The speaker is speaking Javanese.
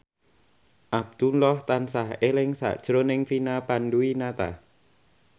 Abdullah tansah eling sakjroning Vina Panduwinata